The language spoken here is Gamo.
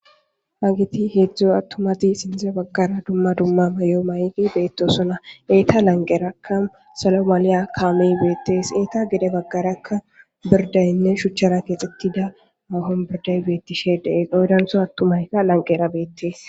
Haggeti heedzdzu attumati sinththe baggara dumma dumma mayo mayidi beettosona eeta lanqerakka salo maliya kaamey beettees eeta gede baggarakka birdaynne shuchchara keexittida aho birday beettishe de7ese oydantho attumayka lanqera beettees.